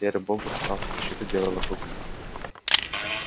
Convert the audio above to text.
серый бобр стал на защиту белого клыка